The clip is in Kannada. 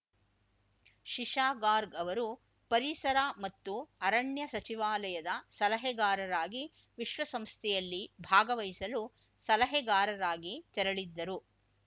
ಶಿಶಾಗಾರ್ಗ್ ಅವರು ಪರಿಸರ ಮತ್ತು ಅರಣ್ಯ ಸಚಿವಾಲಯದ ಸಲಹೆಗಾರರಾಗಿ ವಿಶ್ವಸಂಸ್ಥೆಯಲ್ಲಿ ಭಾಗವಹಿಸಲು ಸಲಹೆಗಾರರಾಗಿ ತೆರಳಿದ್ದರು